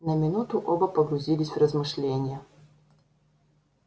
на минуту оба погрузились в размышления